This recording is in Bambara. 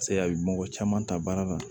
Paseke a bɛ mɔgɔ caman ta baara la